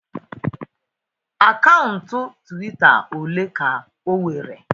Akaụntụ Twitter ole ka o nwere?